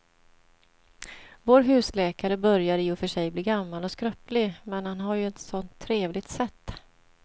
Vår husläkare börjar i och för sig bli gammal och skröplig, men han har ju ett sådant trevligt sätt!